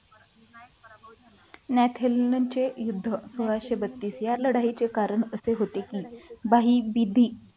न्याथिन्नन युद्ध सोळाशे बत्तीस या लढाईचे कारण असे होते की बही विधी